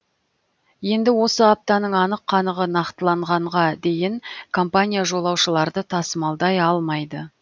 енді осы аптаның анық қанығы нақтыланғанға дейін компания жолаушыларды тасымалдай алмайды